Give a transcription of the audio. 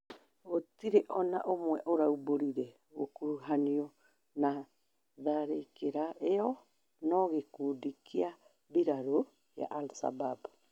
gũtire ona ũmwe ũraũmbũrire gũkurũhanio na tharĩkĩra ĩyo no gĩkundi kĩa mbĩrarũ ya al-shabab